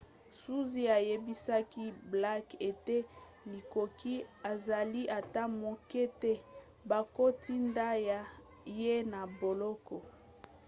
zuzi ayebisaki blake ete likoki ezali ata moke te bakotinda ye na boloko